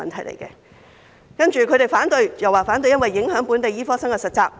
接着，醫生組織又提出反對，指會影響本地醫科生的實習機會。